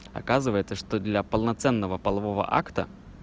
оказывается что для полноценного полового акта